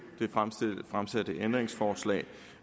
ændringsforslag